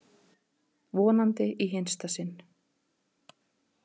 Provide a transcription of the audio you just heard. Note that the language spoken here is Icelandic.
Vonandi í hinsta sinn.